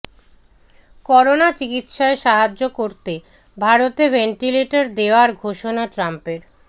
corona চিকিৎসায় সাহায্য করতে ভারতে ভেন্টিলেটর দেওয়ার ঘোষণা ট্রাম্পের